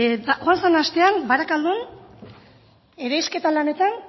joan den astean barakaldon lanetan